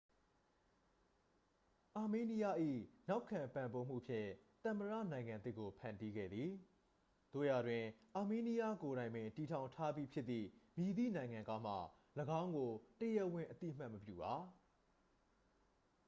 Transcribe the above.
အာမေးနီးယား၏ နောက်ခံပံ့ပိုးမှုဖြင့် သမ္မတနိုင်ငံသစ်ကို ဖန်တီးခဲ့သည် သို့ရာတွင် အာမေးနီးယားကိုယ်တိုင်ပင်တည်ထောင်ထားပြီးဖြစ်သည့် မည်သည့်နိုင်ငံကမှ ၎င်းကို တရားဝင် အသိအမှတ်မပြုပါ